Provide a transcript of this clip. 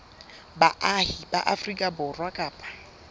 baahi ba afrika borwa kapa